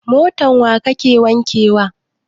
Motan wa kake wanke wa?